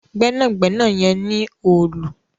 Gbẹ́nàgbẹ́nà yen ní Òòlù.